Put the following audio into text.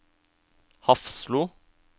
Hafslo